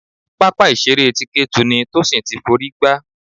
Pápá ìṣeré ti Ketu ni Tosin ti f'orí gbá.